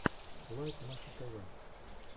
лайк маша тв